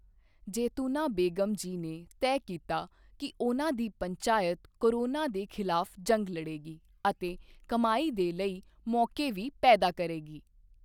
ਜੈਤੂਨਾ ਬੇਗ਼ਮ ਜੀ ਨੇ ਤੈਅ ਕੀਤਾ ਕੀ ਉਨ੍ਹਾਂ ਦੀ ਪੰਚਾਇਤ ਕੋਰੋਨਾ ਦੇ ਖਿਲਾਫ ਜੰਗ ਲੜੇਗੀ ਅਤੇ ਕਮਾਈ ਦੇ ਲਈ ਮੌਕੇ ਵੀ ਪੈਦਾ ਕਰੇਗੀ।